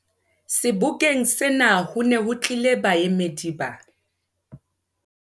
Sebokeng sena ho ne ho tlile baemedi ba